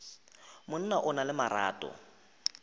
monna o na le marato